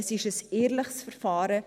Es ist ein ehrliches Verfahren.